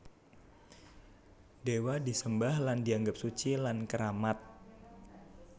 Dewa disembah lan dianggep suci lan keramat